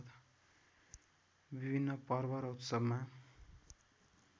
विभिन्न पर्व र उत्सवमा